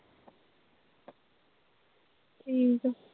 ਠੀਕ ਐ।